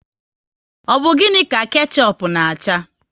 Ọ bụ gịnị ka kechup na acha?